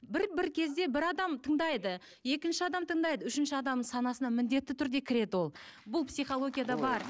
бір кезде бір адам тыңдайды екінші адам тыңдайды үшінші адамның санасына міндетті түрде кіреді ол бұл психологияда бар